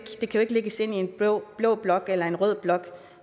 lægges ind i en blå blå blok eller en rød blok